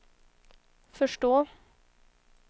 förstå